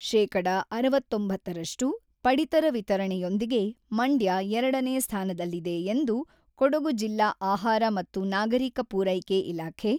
ಶೇಕಡ ಅರವತ್ತೊಂಬತ್ತರಷ್ಟು ಪಡಿತರ ವಿತರಣೆಯೊಂದಿಗೆ ಮಂಡ್ಯ ಎರಡನೇ ಸ್ಥಾನದಲ್ಲಿದೆ ಎಂದು ಕೊಡಗು ಜಿಲ್ಲಾ ಆಹಾರ ಮತ್ತು ನಾಗರಿಕ ಪೂರೈಕೆ ಇಲಾಖೆ